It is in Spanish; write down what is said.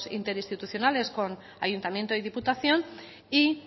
interinstitucionales con ayuntamiento y diputación y